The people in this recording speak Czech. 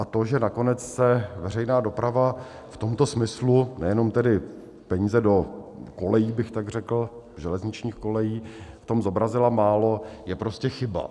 A to, že nakonec se veřejná doprava v tomto smyslu, nejenom tedy peníze do kolejí bych tak řekl, železničních kolejí, v tom zobrazila málo, je prostě chyba.